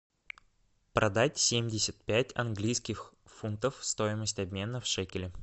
продать семьдесят пять английских фунтов стоимость обмена в шекели